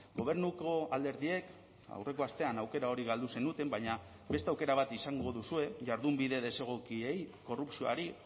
gobernuko alderdiek aurreko astean aukera hori galdu zenuten baina beste aukera bat izango duzue jardunbide desegokiei korrupzioari